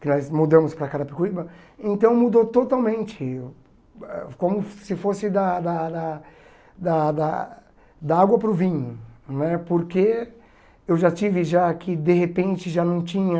que nós mudamos para Carapicuíba, então mudou totalmente, como se fosse da da da da da da água para o vinho não é, porque eu já tive já que de repente já não tinha